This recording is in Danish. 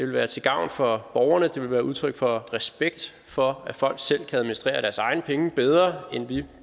være til gavn for borgerne og det ville være udtryk for respekt for at folk selv kan administrere deres egne penge bedre end vi